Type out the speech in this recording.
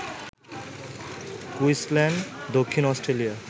Queensland, দক্ষিণ Australia